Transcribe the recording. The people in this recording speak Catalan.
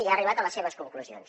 ja ha arribat a les seves conclusions